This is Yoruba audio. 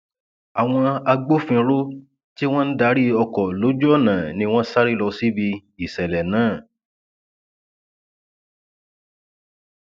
àwọn agbófinró tí wọn ń darí ọkọ lójú ọnà ni wọn sáré lọ síbi ìṣẹlẹ náà